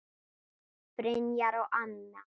Brynjar og Anna.